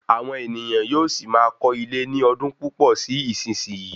Àwọn ènìyàn yóò sì máa kọ́ ilé ní ọdún púpò sí isisiyi